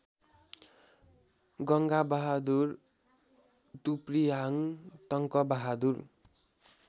Ganga Bahadur Tuprihang Tankabahadur